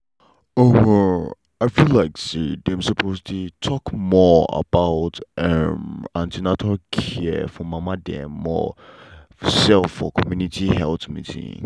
um i feel like say dem suppose dey talk more about um an ten atal care for mama dem more um for community health meeting.